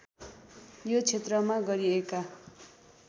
यो क्षेत्रमा गरिएका